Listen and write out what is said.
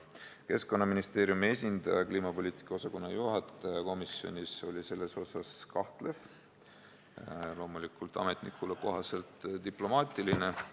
Keskkonnaministeeriumi esindaja, kliimapoliitika osakonna juhataja, oli komisjonis selles osas kahtlev, loomulikult jäi ta ametnikule kohaselt diplomaatiliseks.